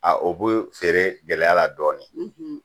A o bɛ feere gɛlɛya la dɔɔnin .